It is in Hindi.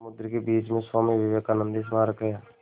समुद्र के बीच में स्वामी विवेकानंद स्मारक है